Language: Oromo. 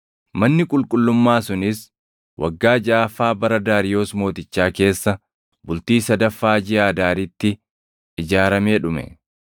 Manni qulqullummaa sunis waggaa jaʼaffaa bara Daariyoos Mootichaa keessa, bultii sadaffaa jiʼa Adaaritti ijaaramee dhume.